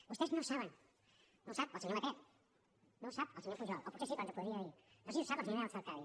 vostès no ho saben no ho sap el senyor batet no ho sap el senyor pujol o potser sí però ens ho podria dir no sé si ho sap la senyora elsa artadi